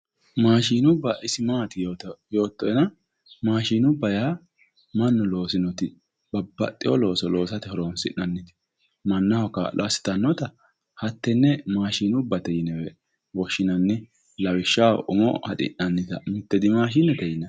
maashinubba ise maati yoottoena maashinubba yaa mannu loosinoti babbaxewo looso loosate horonsi'nanni mannaho kaa'lo assitannota hatteenne maashinubbatee yine woshshinanni, lawishshaho, umo haxi'nannita dimaashinete yinanni.